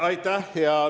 Aitäh!